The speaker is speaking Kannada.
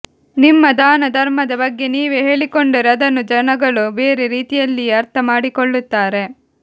ನಿಮ್ಮ ದಾನ ಧರ್ಮದ ಬಗ್ಗೆ ನೀವೇ ಹೇಳಿಕೊಂಡರೆ ಅದನ್ನು ಜನಗಳು ಬೇರೆ ರೀತಿಯಲ್ಲಿಯೇ ಅರ್ಥ ಮಾಡಿಕೊಳ್ಳುತ್ತಾರೆ